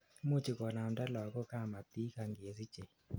imuchi konamnda lagok kamatik angesichei